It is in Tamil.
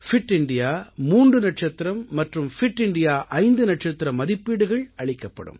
பிட் இந்தியா மூன்று நட்சத்திரம் மற்றும் பிட் இந்தியா 5 நட்சத்திர மதிப்பீடுகள் அளிக்கப்படும்